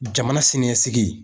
Jamana siniɲɛsigi.